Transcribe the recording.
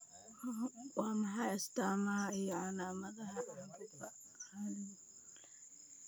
Waa maxay astamaha iyo calaamadaha caabuqa halbowlaha celiacga?